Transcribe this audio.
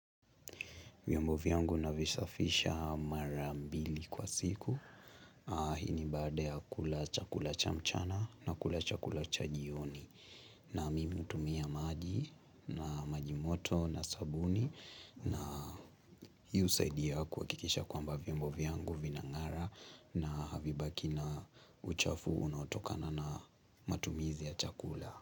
Vyombo vyangu na visafisha mara mbili kwa siku. Hii ni baada ya kula chakula cha mchana na kula chakula cha jioni. Na mimi utumia maji na maji moto na sabuni. Na hii husaidia yaku wakikisha kwa mba vyombovi yangu vinangara na havibaki na uchafu unaotokana na matumizi ya chakula.